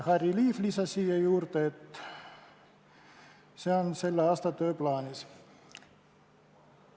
Harry Liiv lisas, et see on selle aasta tööplaanis.